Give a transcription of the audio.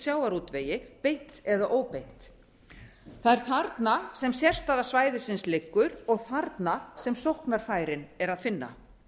sjávarútvegi beint eða óbeint það er þarna sem sérstaða svæðisins liggur og þarna sem sóknarfærin er að finna